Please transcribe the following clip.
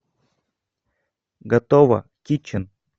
готово китчен